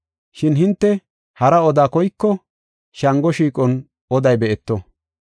Shin hinte hara oda koyko, Shango shiiqon oday be7eto.